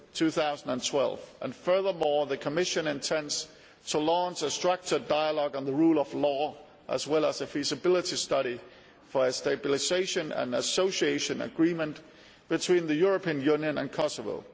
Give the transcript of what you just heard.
2012. Furthermore, the Commission intends to launch a structured dialogue on the rule of law and a feasibility study for a Stabilisation and Association Agreement between the European Union and Kosovo.